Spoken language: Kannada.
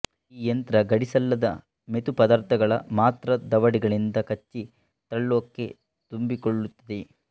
ಈ ಯಂತ್ರ ಗಡಸಿಲ್ಲದ ಮೆತು ಪದಾರ್ಥಗಳನ್ನು ಮಾತ್ರ ದವಡೆಗಳಿಂದ ಕಚ್ಚಿ ತನ್ನೊಳಕ್ಕೆ ತುಂಬಿಕೊಳ್ಳುತ್ತದೆ